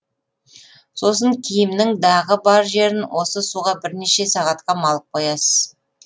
сосын киімнің дағы бар жерін осы суға бірнеше сағатқа малып қоясыз